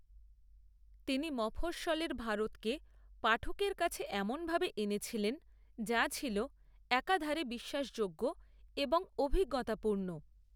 তিনি মফস্বলের ভারতকে পাঠকের কাছে এমনভাবে এনেছিলেন যা ছিল একাধারে বিশ্বাসযোগ্য এবং অভিজ্ঞতাপূর্ণ।